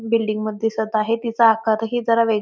building दिसत आहे तिचा आकारही जरा वेग--